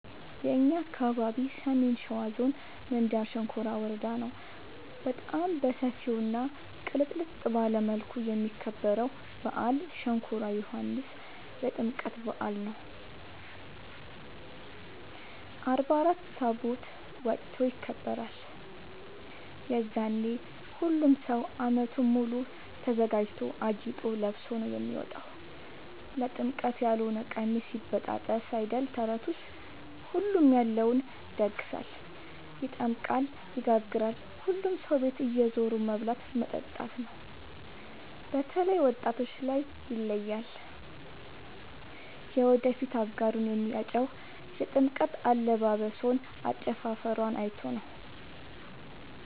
የእኛ አካባቢ ሰሜን ሸዋ ዞን ምንጃር ሸንኮራ ወረዳ ነው። በጣም በሰፊው እና ቅልጥልጥ ባለ መልኩ የሚከበረው በአል ሸንኮራ ዮኋንስ የጥምቀት በአል ነው። አርባ አራት ታቦት ወጥቶ ይከብራል። የዛኔ ሁሉም ሰው አመቱን ሙሉ ተዘጋጅቶ አጊጦ ለብሶ ነው የሚወጣው ለጥምቀት ያሎነ ቀሚስ ይበጣጠስ አይደል ተረቱስ ሁሉም ያለውን ይደግሳል። ይጠምቃል ይጋግራል ሁሉም ሰው ቤት እየዞሩ መብላት መጠጣት ነው። በተላይ ወጣቶች ላይ ይለያል። የወደፊት አጋሩን የሚያጨው የጥምቀት አለባበሶን አጨፉፈሯን አይቶ ነው።